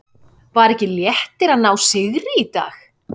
Var ekki léttir að ná sigri í dag?